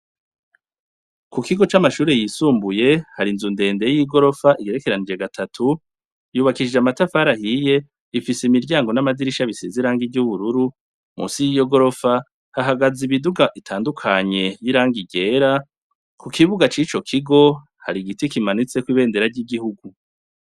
Ku kigo c'amashure yisumbuye, hari inzu ndende y'igorofa igerekeranije gatatu, yubakishije amatafari ahiye, ifise imiryango n'amadirisha bisize irangi ry'ubururu, munsi y'iyo gorofa, hahagaze imiduga itandukanye y'irangi ryera, ku kibuga c'ico kigo, hari igiti kimanitseko ibendera ry'igihugu.